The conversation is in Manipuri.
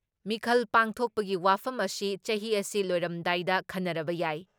ꯃꯤꯈꯜ ꯄꯥꯡꯊꯣꯛꯄꯒꯤ ꯋꯥꯐꯝ ꯑꯁꯤ ꯆꯍꯤ ꯑꯁꯤ ꯂꯣꯏꯔꯝꯗꯥꯏꯗ ꯈꯟꯅꯔꯕ ꯌꯥꯏ ꯫